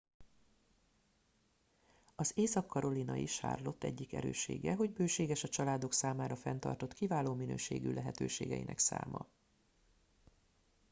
az észak karolinai charlotte egyik erőssége hogy bőséges a családok számára fenntartott kiváló minőségű lehetőségeinek száma